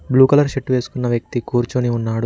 Blue colour shirt వేసుకొన్న ఉన్న వ్యక్తి కూర్చొని ఉన్నాడు.